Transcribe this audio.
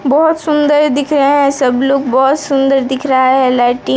बहुत सुंदर दिख रहे हैं सब लोग बहुत सुंदर दिख रहा है लाइटी --